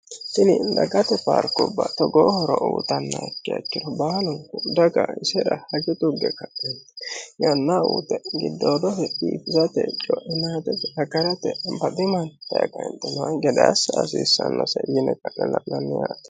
Tini dagate baarkubba togoo horo uuyitannokeha ikkiro baalunku daga isera hajo tugge ka'enitinni yannaa uyite giddoodose biifisate coinatese agarate baxxi manni daye kaenitinni hunaaki gede assa hasiissannose yine kane lananiwatti